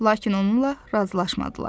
Lakin onunla razılaşmadılar.